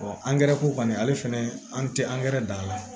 angɛrɛ ko kɔni ale fɛnɛ an te angɛrɛ dan